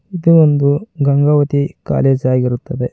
ಇದು ಒಂದು ಗಂಗಾವತಿ ಕಾಲೇಜ ಆಗಿರುತ್ತದೆ.